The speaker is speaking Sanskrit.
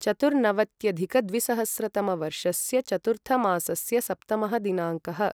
चतुर्नवत्यधिकद्विसहस्रतमवर्षस्य चतुर्थमासस्य सप्तमः दिनाङ्कः